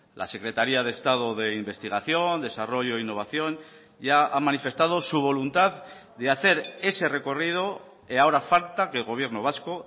la secretaría de estado de investigación desarrollo e innovación ya ha manifestado su voluntad de hacer ese recorrido ahora falta que el gobierno vasco